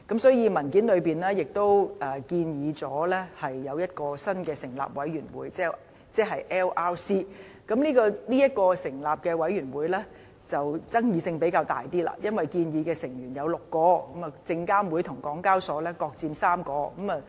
所以，文件中亦建議一個新成立的委員會 LRC， 而對於成立這個委員會的爭議性就較大，因為建議成員有6位，由證監會和香港交易及結算所有限公司各佔3位。